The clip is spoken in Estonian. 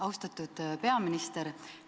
Austatud peaminister!